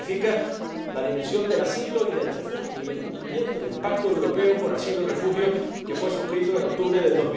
Esto significa la dimensión del asilo y del refugio y el cumplimiento del Pacto Europeo sobre Inmigración y Asilo, que fue suscrito en octubre de